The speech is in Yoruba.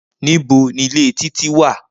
Nibo ni ile Titi wa?